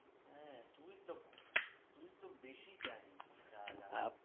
হ্যাঁ তুই তো তুই তো বেশি জানিস শালা